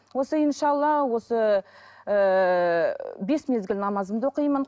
осы иншалла осы ііі бес мезгіл намазымды оқимын